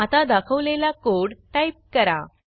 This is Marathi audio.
आता दाखवलेला कोड टाईप करा